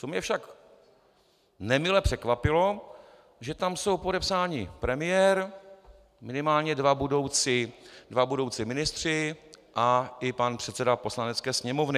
Co mě však nemile překvapilo, že tam jsou podepsáni premiér, minimálně dva budoucí ministři a i pan předseda Poslanecké sněmovny.